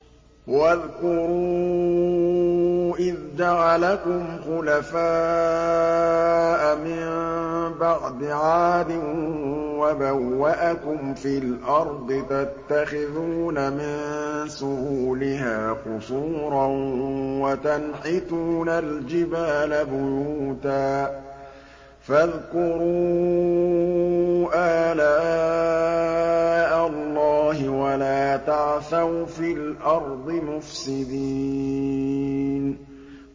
وَاذْكُرُوا إِذْ جَعَلَكُمْ خُلَفَاءَ مِن بَعْدِ عَادٍ وَبَوَّأَكُمْ فِي الْأَرْضِ تَتَّخِذُونَ مِن سُهُولِهَا قُصُورًا وَتَنْحِتُونَ الْجِبَالَ بُيُوتًا ۖ فَاذْكُرُوا آلَاءَ اللَّهِ وَلَا تَعْثَوْا فِي الْأَرْضِ مُفْسِدِينَ